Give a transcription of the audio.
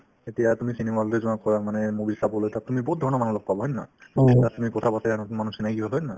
এতিয়া তুমি cinema hall তে যোৱা মানে movie চাবলৈ তাত তুমি বহুত ধৰণৰ মানুহ লগ পাবা হয় নে নহয় তাত তুমি কথাপাতে নতুন মানুহ চিনাকি হ'ল হয় নে নহয়